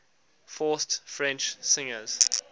forced french singers